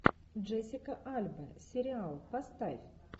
джессика альба сериал поставь